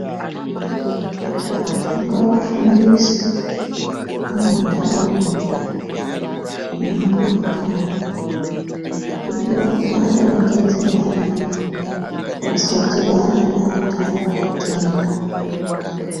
Vantu ngava fundiswe muma ndaraunda nemu makanyi kuti vagare vakadzi ngwarira vasa dhibana ne andani matenda.